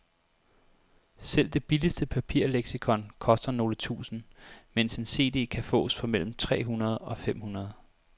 Selv det billigste papirleksikon koster nogle tusinde, mens en cd kan fås for mellem tre hundrede og fem hundrede.